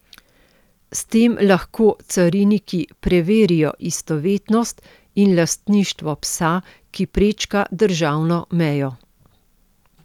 S tem lahko cariniki preverijo istovetnost in lastništvo psa, ki prečka državno mejo.